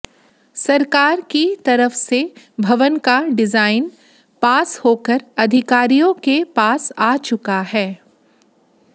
सरकार की तरफ से भवन का डिजाइन पास होकर अधिकारियों के पास आ चुका है